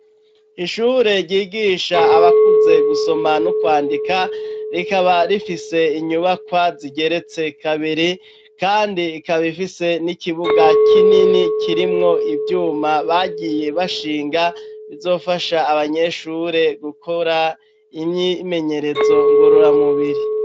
Ishure ryigisha abakuze, gusoma n'ukwandika, rikaba rifise inyubakwa zigeretse kabiri, kandi ikaba ifise n'ikibuga kinini, kirimwo ivyuma bagiye bashinga, bizofasha abanyeshure, gukora imyimenyerezo ngororamubiri.